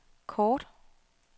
kort